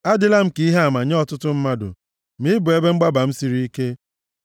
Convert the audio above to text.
Adịla m ka ihe ama nye ọtụtụ mmadụ, ma ị bụ ebe mgbaba m siri ike.